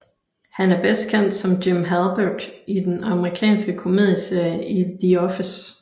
Han er bedst kendt som Jim Halpert i den amerikanske komedieserie i The Office